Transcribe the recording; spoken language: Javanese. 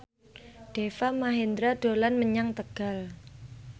Deva Mahendra dolan menyang Tegal